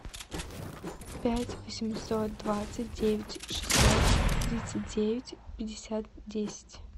пять восемьсот двадцать девять шестьсот тридцать девять пятьдесят десять